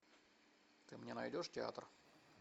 ты мне найдешь театр